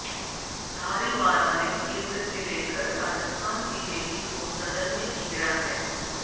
धारीवाला ने केन्द्र से लेकर राजस्थान बीजेपी को सदन में घेरा है